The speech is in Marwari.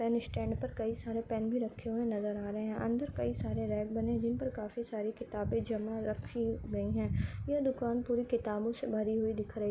मैंने स्टैन्ड पर कई सारे पेन भी रखे हुए नजर आ रहे है अंदर कई सारे रेड बने जिन पर काफी सारे किताबे जमा रखी गई है ये दुकान पुरी किताबों से भरी हुई दिख रही --